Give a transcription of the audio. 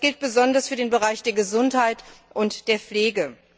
Das gilt besonders für den Bereich der Gesundheit und der Pflege.